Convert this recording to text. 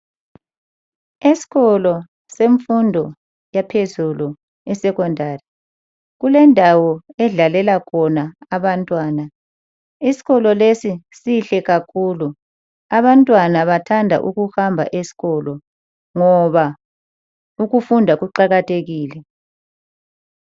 Esikolo semfundo yaphezulu e-Secondary. Kulendawo edlalela khona abantwana. Isikolo lesi sihle kakhulu. Abantwana bathanda ukuhamba esikolo ngoba ukufunda kuqakathekile.